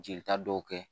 Jelita dɔw kɛ